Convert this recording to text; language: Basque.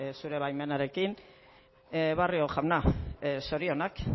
zure baimenarekin barrio jauna zorionak